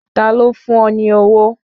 Ta ló fún ọ ní owó